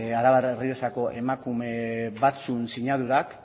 arabar errioxako emakume batzuen sinadurak